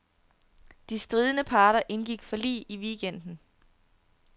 De stridende parter indgik forlig i weekenden.